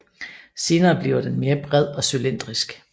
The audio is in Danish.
Senere bliver den mere bred og cylindrisk